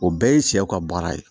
O bɛɛ ye sɛw ka baara ye